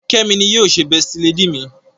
Kemi ní yíò ṣe besti lady mí.